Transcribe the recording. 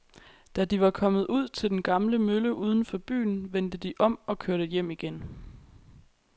Da de var kommet ud til den gamle mølle uden for byen, vendte de om og kørte hjem igen.